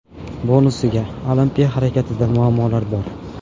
Bonusiga: Olimpiya harakatida muammolar bor.